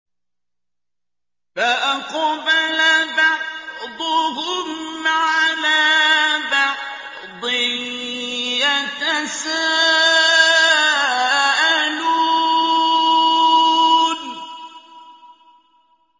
فَأَقْبَلَ بَعْضُهُمْ عَلَىٰ بَعْضٍ يَتَسَاءَلُونَ